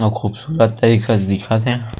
इतना खूबसूरत जैसा दिखत हे।